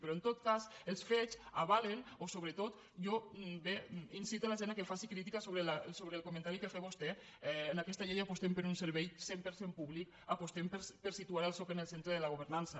però en tot cas els fets avalen o sobretot inciten la gent que faci crítica sobre el comentari que ha fet vostè en aquesta llei apostem per un servei cent per cent públic apostem per situar el soc en el centre de la governança